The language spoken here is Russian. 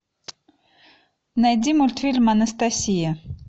найди мультфильм анастасия